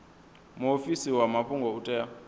muofisi wa mafhungo u tea